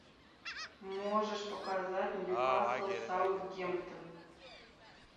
можешь показать ньюкасл саутгемптон